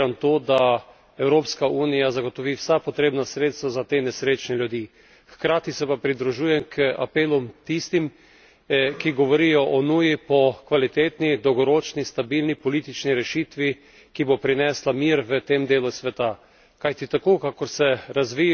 In sam strogo podpiram to, da Evropska unija zagotovi vsa potrebna sredstva za te nesrečne ljudi. Hkrati se pa pridružujem k apelom tistih, ki govorijo o nuji po kvalitetni, dolgoročni, stabilni politični rešitvi, ki bo prinesla mir v tem delu sveta.